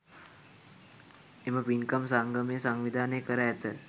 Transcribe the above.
එම පින්කම් සංගමය සංවිධානය කර ඇත.